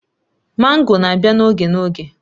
Mango na-abịa n'oge n'oge